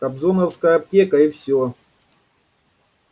кобзоновская аптека и всё